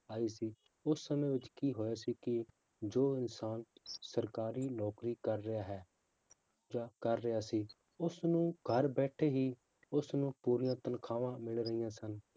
ਆਈ ਸੀ ਉਸ ਸਮੇਂ ਵਿੱਚ ਕੀ ਹੋਇਆ ਸੀ ਕਿ ਜੋ ਇਨਸਾਨ ਸਰਕਾਰੀ ਨੌਕਰੀ ਕਰ ਰਿਹਾ ਹੈ, ਜਾਂ ਕਰ ਰਿਹਾ ਸੀ ਉਸਨੂੰ ਘਰ ਬੈਠੇ ਹੀ ਉਸਨੂੰ ਪੂਰੀਆਂ ਤਨਖਾਹਾਂ ਮਿਲ ਰਹੀਆਂ ਸਨ